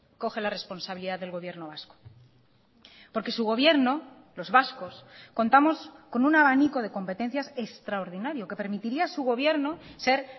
coge la responsabilidad del gobierno vasco porque su gobierno los vascos contamos con un abanico de competencias extraordinario que permitiría a su gobierno ser